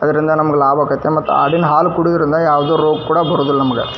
ಅದರಿಂದ ನಮಗೆ ಲಾಭ ಆಕತ್ತೆ ಆಡಿನ್ ಹಾಲು ಕುಡಿಯೋದ್ರಿಂದ ಯಾವುದು ರೋಗ್ ಕೂಡ ಬರೋದಿಲ್ಲ ನಮಗ .